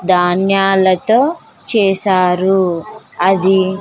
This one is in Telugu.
ధాన్యాలతో చేశారు అది--